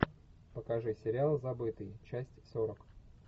покажи сериал забытый часть сорок